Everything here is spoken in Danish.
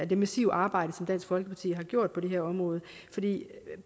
det massive arbejde som dansk folkeparti har gjort på det her område